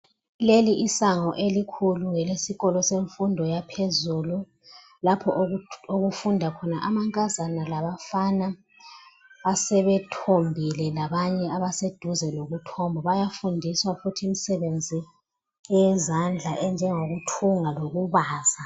Leli isango elikhulu ngelesikolo semfundo yaphezulu lapho okufunda khona amankazana labafana asebethombile labanye abaseduze lokuthomba bayafundiswa futhi imisebenzi eyezandla enjengokuthunga lokubaza